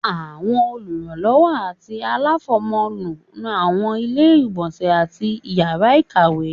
Àwọn olùrànlọwọ ati alafọmọ nú awọn ile-igbọnsẹ atí ìyara ìkàwé